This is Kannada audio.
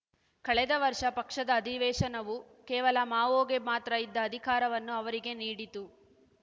ಕಳೆದ ವರ್ಷ ಪಕ್ಷದ ಅಧಿವೇಶನವು ಕೇವಲ ಮಾವೋಗೆ ಮಾತ್ರ ಇದ್ದ ಅಧಿಕಾರವನ್ನು ಅವರಿಗೆ ನೀಡಿತು